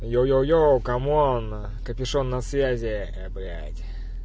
е е е камон капюшон на связи э блять